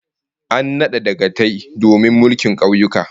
An nada dagatai domin su mulki kauyuka